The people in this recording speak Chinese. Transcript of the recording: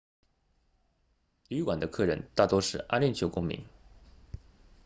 旅馆的客人大多是阿联酋公民